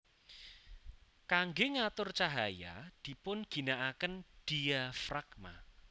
Kangge ngatur cahaya dipun ginakaken diafragma